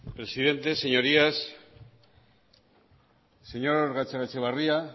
presidenta señorías señor gatzagaetxebarria